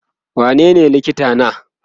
wanene likitan ka?